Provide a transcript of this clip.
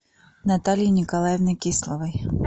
натальи николаевны кисловой